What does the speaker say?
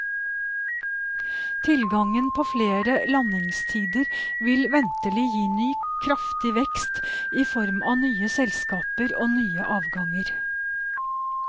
Tilgangen på flere landingstider vil ventelig gi ny kraftig vekst i form av nye selskaper og nye avganger.